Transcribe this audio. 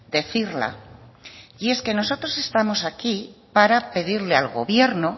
decirla y es que nosotros estamos aquí para pedir al gobierno